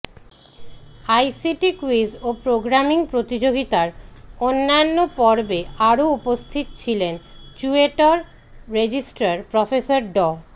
ICT quiz ও programming প্রতিযোগিতার অন্যান্য পর্বে আরও উপস্থিত ছিলেন চুয়েটের রেজিস্ট্রার প্রফেসর ড